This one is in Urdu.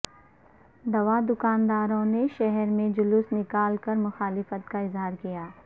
دوا دکاندارو ں نے شہر میں جلوس نکال کرمخالفت کا اظہارکیا